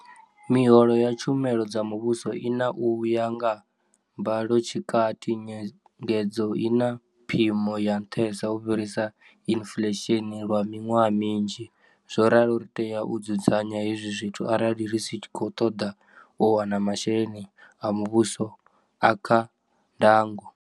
Miholo ya tshumelo dza muvhuso i na u ya nga mbalotshikati nyengedzo i na phimo ya nṱhesa u fhirisa inflesheni lwa miṅwaha minzhi, zwo ralo ri tea u dzudzanya hezwi zwithu arali ri tshi khou ṱoḓa u wana masheleni a mu vhuso a kha ndango.